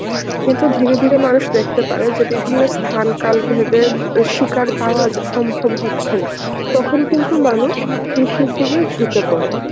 কিন্তু ধীরে ধীরে মানুষ দেখতে পারে যে বিভিন্ন স্থান কাল ভেদে শিকার পাওয়া যা সম্ভব হচ্ছেনা. তখনই কিন্তু মানুষ কৃষির দিকেই ঝুঁকে পড়ে.